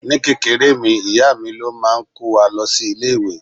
Ní kékeré mi, ìyá mi ló máa ń kó wa lọ sí ilé-ìwé.